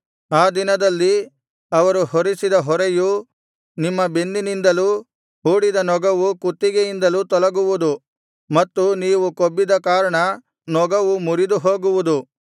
ಆ ದಿನದಲ್ಲಿ ಅವರು ಹೊರಿಸಿದ ಹೊರೆಯು ನಿಮ್ಮ ಬೆನ್ನಿನಿಂದಲೂ ಹೂಡಿದ ನೊಗವು ಕುತ್ತಿಗೆಯಿಂದಲೂ ತೊಲಗುವುದು ಮತ್ತು ನೀವು ಕೊಬ್ಬಿದ ಕಾರಣ ನೊಗವು ಮುರಿದು ಹೋಗುವುದು